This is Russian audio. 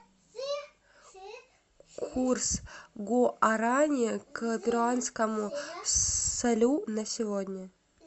курс гуарани к перуанскому солю на сегодня